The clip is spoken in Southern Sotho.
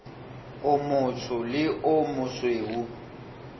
o motsho le o mosweu